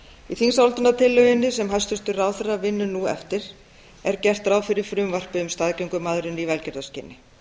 í þingsályktunartillögunni sem hæstvirtur ráðherra vinnur nú eftir er gert ráð fyrir frumvarpi um staðgöngumæðrun í velgjörðarskyni